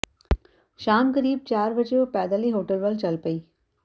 ਸ਼ਾਮ ਕਰੀਬ ਚਾਰ ਵਜੇ ਉਹ ਪੈਦਲ ਹੀ ਹੋਟਲ ਵੱਲ ਚਲ ਪਈ